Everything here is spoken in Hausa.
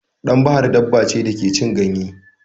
Ɗan bahar daba ce da ke cin ganye.